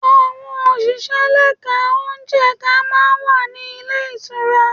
Àwọn òṣìṣẹ́ lẹ́ka ò jẹ̀ka máa ń wà ní ilé ìtura.